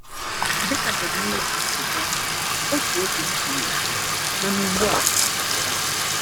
“Dịka John Newton si dee, ‘Otu oge m furu efu, mana ugbu a a chọtara m!’”